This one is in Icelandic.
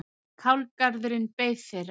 Kálgarðurinn beið þeirra.